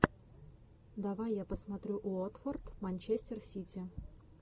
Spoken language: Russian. давай я посмотрю уотфорд манчестер сити